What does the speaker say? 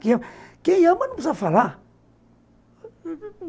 Quem ama não precisa falar.